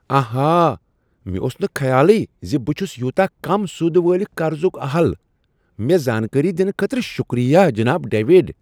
آہا! مےٚ اوس نہٕ خیالٕے ز بہٕ چھس یوٗتاہ کم سود وٲلس قرضک اہل۔ مےٚ زانکٲری دنہٕ خٲطرٕ شکریہ، جناب ڈیوڈ۔